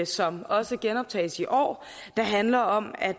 som også genoptages i år der handler om at